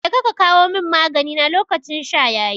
Jeka ka kawo mun magani na lokacin sha yayi